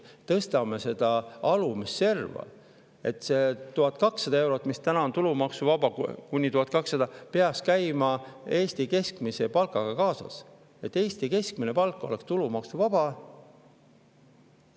Tõstame seda alumist serva: see kuni 1200 eurot, mis täna on tulumaksuvaba, peaks käima Eesti keskmise palgaga kaasas, et Eesti keskmine palk oleks tulumaksuvaba.